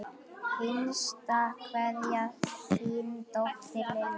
Hinsta kveðja, þín dóttir, Lilja.